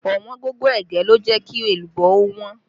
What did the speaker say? Ọ̀wọ́ngógó ẹ̀gẹ́ ló jẹ́ kí èlùbọ́ ó wọ́n